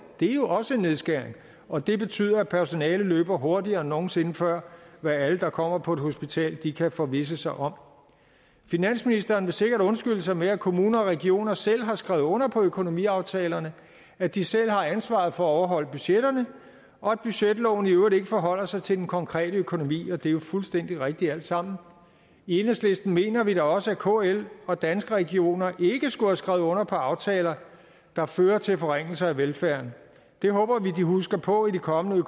det er jo også nedskæring og det betyder at personalet løber hurtigere end nogen sinde før hvad alle der kommer på et hospital kan forvisse sig om finansministeren vil sikkert undskylde sig med at kommuner og regioner selv har skrevet under på økonomiaftalerne at de selv har ansvaret for at overholde budgetterne og at budgetloven i øvrigt ikke forholder sig til den konkrete økonomi det er fuldstændig rigtigt alt sammen i enhedslisten mener vi da også at kl og danske regioner ikke skulle have skrevet under på aftaler der fører til forringelser af velfærden det håber vi de husker på i de kommende